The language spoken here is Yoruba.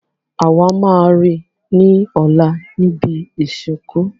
Àwa má ri ni ọlá ni ìbí ìsìnkú.